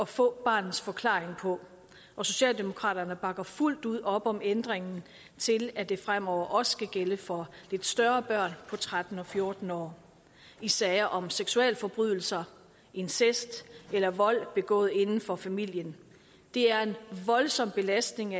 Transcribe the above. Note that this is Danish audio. få barnets forklaring på og socialdemokraterne bakker fuldt ud op om ændringen til at det fremover også skal gælde for lidt større børn på tretten og fjorten år i sager om seksualforbrydelser incest eller vold begået inden for familien det er en voldsom belastning